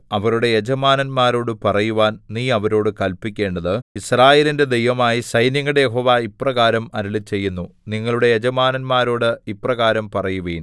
അവരുടെ യജമാനന്മാരോടു പറയുവാൻ നീ അവരോടു കല്പിക്കേണ്ടത് യിസ്രായേലിന്റെ ദൈവമായ സൈന്യങ്ങളുടെ യഹോവ ഇപ്രകാരം അരുളിച്ചെയ്യുന്നു നിങ്ങളുടെ യജമാനന്മാരോടു ഇപ്രകാരം പറയുവിൻ